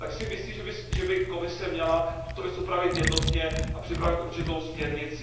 Myslím si, že by Komise měla tuto věc upravit jednotně a připravit určitou směrnici.